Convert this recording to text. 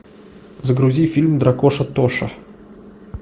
загрузи фильм дракоша тоша